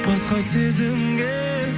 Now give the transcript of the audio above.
басқа сезімге